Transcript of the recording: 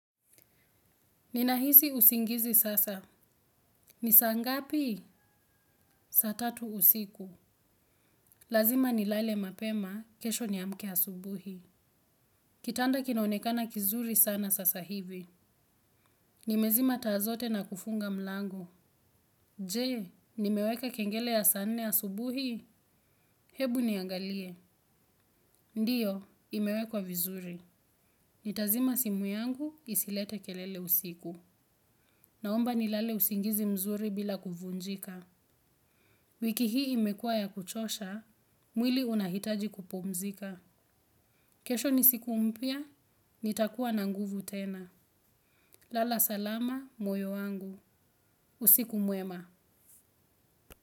Ninahisi usingizi sasa. Ni saa ngapi? Sa tatu usiku. Lazima nilale mapema kesho niamke asubuhi. Kitanda kinaonekana kizuri sana sasa hivi. Nimezima taa zote na kufunga mlango. Je, nimeweka kengele ya saa nne asubuhi? Hebu niangalie. Ndiyo, imewekwa vizuri. Nitazima simu yangu isilete kelele usiku. Naomba nilale usingizi mzuri bila kuvunjika. Wiki hii imekuwa ya kuchosha, mwili unahitaji kupumzika. Kesho ni siku mpya, nitakuwa na nguvu tena. Lala salama, moyo wangu. Usiku mwema.